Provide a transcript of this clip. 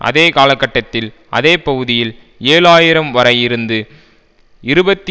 அதே காலகட்டத்தில் அதேபகுதியில் ஏழு ஆயிரம் வரை இருந்து இருபத்தி